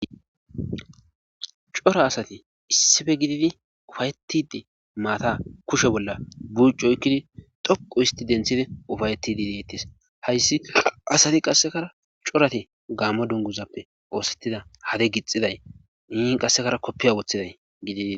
cora asati issife gididi ufayettide maata kushe bolla buccu oykkidi dhoqu isti denthide ufayetidi deettis hayssi asati qassekara corate gammo dunguzappe oosettida hade gixxiday nin qassekara koppiya woththiday gididie